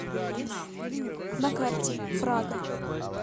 на карте прага